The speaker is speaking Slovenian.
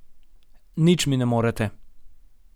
Nič mi ne morete.